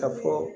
Ka fɔ